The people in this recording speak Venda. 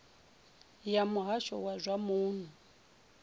ya muhasho wa zwa muno